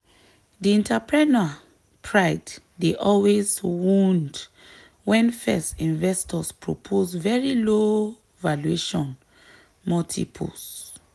di entrepreneur pride dey always wound when first investors propose very low valuation multiples.